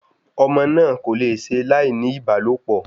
Ọmọ náà kò le ṣe láì ní ìbálòpọ̀